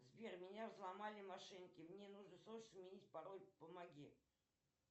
сбер меня взломали мошенники мне нужно срочно сменить пароль помоги